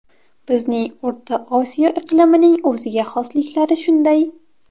Bizning O‘rta Osiyo iqlimining o‘ziga xosliklari shunday.